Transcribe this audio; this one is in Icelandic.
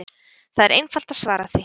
Það er einfalt að svara því!